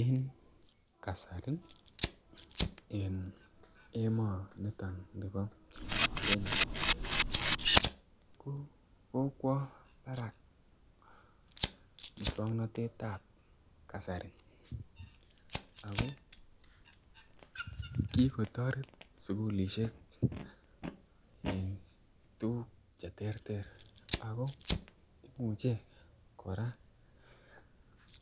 En kasari en emoniton nibo kenya ko kokwo barak muswoknotetab kasari ako kikotoret sukulishek en tukuk cheterter ako imuche koraa